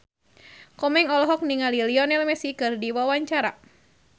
Komeng olohok ningali Lionel Messi keur diwawancara